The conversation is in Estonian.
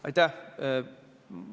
Aitäh!